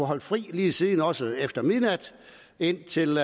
holde fri lige siden også efter midnat indtil